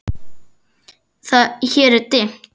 Hér er dimmt.